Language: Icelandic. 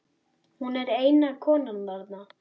Hún er eina konan þarna.